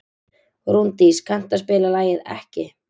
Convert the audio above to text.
Rúndís, kanntu að spila lagið „Ekki“?